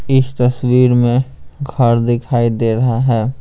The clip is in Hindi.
इस तस्वीर में घर दिखाई दे रहा है।